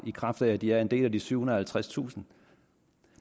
i kraft af at de er en del af de over syvhundredetusind